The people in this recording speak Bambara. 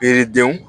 Yiridenw